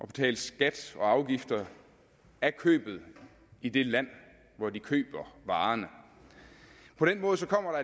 betale skat og afgifter af købet i det land hvor de køber varerne på den måde kommer